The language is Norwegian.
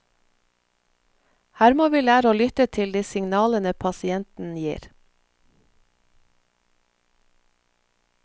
Her må vi lære å lytte til de signalene pasienten gir.